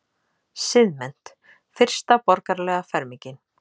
Siðmennt- fyrsta borgaralega fermingin.